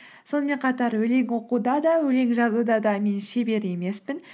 сонымен қатар өлең оқуда да өлең жазуда да мен шебер емеспін